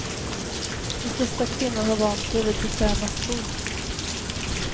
De flesta kvinnor har vant sig vid bekväma skor.